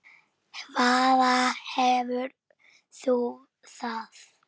Hvaðan hefur þú það?